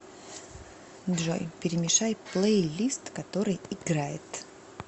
джой перемешай плейлист который играет